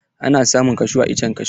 Ana samun kashu a iccen kashu.